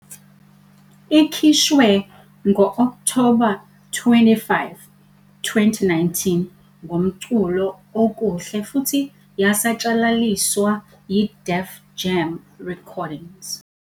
Ikhishwe ngo-Okthoba 25, 2019, ngomculo OKUHLE futhi yasatshalaliswa yi- Def Jam Recordings.